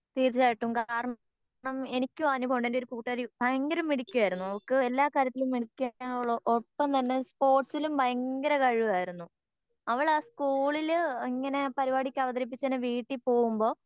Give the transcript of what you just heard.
തീർച്ചയായിട്ടും കാരണം എനിക്കും അനുഭവം ഉണ്ട് എൻ്റെ ഒരു കൂട്ടുകാരി ഭയങ്കര മിടുക്കി ആയിരുന്നു അവൾക്ക് എല്ലാ കാര്യത്തിലും മിടുക്കി ഒപ്പം തന്നെ സ്പോർട്സിലും ഭയങ്കര കഴിവായിരുന്നു അവൾ ആ സ്കൂളില് ഇങ്ങനെ പരുപാടി ഒക്കെ അവതരിപിച്ച് വീട്ടിൽ പോവുമ്പോൾ